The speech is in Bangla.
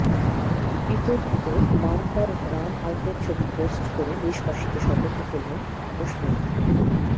বিতর্কিত মানকড় রান আউটের ছবি পোস্ট করে দেশবাসীকে সতর্ক করলেন অশ্বিন